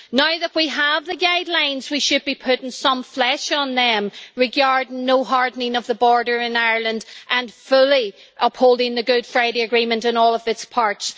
Now that we have the guidelines, we should be putting some flesh on them regarding no hardening of the border in Ireland and fully upholding the Good Friday Agreement in all of its parts.